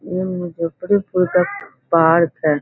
इ मुज्जफरपुर के पार्क है।